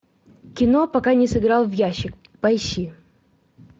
кино пока не сыграл в ящик поищи